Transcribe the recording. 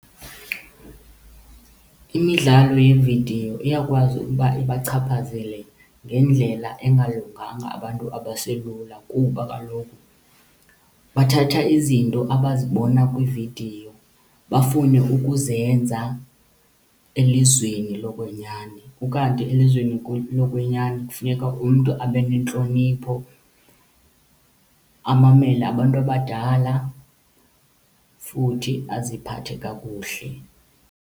Imidlalo yeevidiyo iyakwazi ukuba ibachaphazele ngendlela engalunganga abantu abaselula kuba kaloku bathatha izinto abazibona kwiividiyo bafune ukuzenza elizweni lokwenyani. Ukanti elizweni lokwenyani kufuneka umntu abe nentlonipho, amamele abantu abadala futhi aziphathe kakuhle.